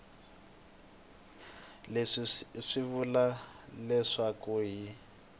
leswi swi vula leswaku hi